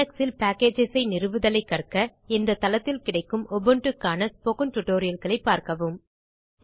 Linux இல் packagesஐ நிறுவுதலைக் கற்க இந்தத் தளத்தில்கிடைக்கும் Ubuntuக்கான ஸ்போக்கன் tutorialகளைப் பார்க்கவும்